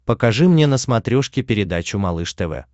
покажи мне на смотрешке передачу малыш тв